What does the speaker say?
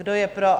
Kdo je pro?